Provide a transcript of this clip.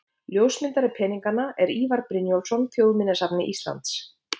Ljósmyndari peninganna er Ívar Brynjólfsson, Þjóðminjasafni Íslands.